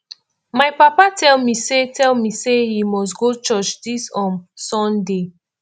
my papa tell me say tell me say he must go church dis um sunday